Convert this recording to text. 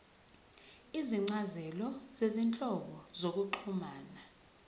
izincazelo zezinhlobo zokuxhumana